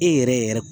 E yɛrɛ yɛrɛ